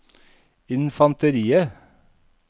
infanteriet